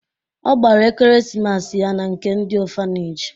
Ọ gbara ekeresimesi ya na nke ndị ọfaneji